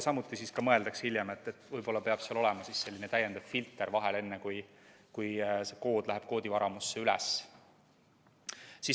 Samuti mõeldakse hiljem, et võib-olla peab seal olema selline täiendav filter vahel, enne kui kood läheb koodivaramusse üles.